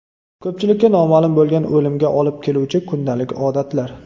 Ko‘pchilikka noma’lum bo‘lgan o‘limga olib keluvchi kundalik odatlar .